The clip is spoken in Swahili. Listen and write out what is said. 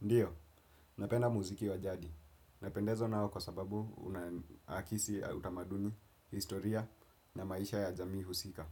Ndiyo, napenda muziki wa jadi. Napendezwa nao kwa sababu una akisi utamaduni, historia na maisha ya jamii husika.